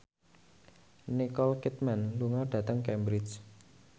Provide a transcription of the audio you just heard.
Nicole Kidman lunga dhateng Cambridge